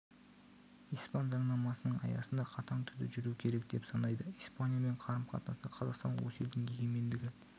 испан заңнамасының аясында қатаң түрде жүруі керек деп санайды испаниямен қарым-қатынаста қазақстан осы елдің егемендігі